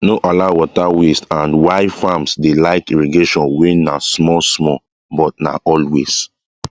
no allow water wastesandy farms dey like irrigation wey na small small but na always